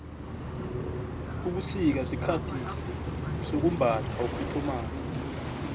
ubusika sikhathi sokumbatha ufuthumale